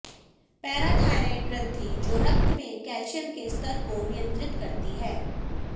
parathyroid ग्रंथि जो रक्त में कैल्शियम के स्तर को नियंत्रित करती है